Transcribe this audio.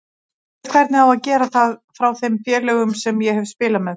Ég veit hvernig á að gera það frá þeim félögum sem ég hef spilað með.